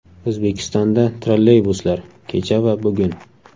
O‘zbekistonda trolleybuslar: Kecha va bugun.